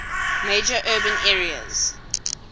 major urban areas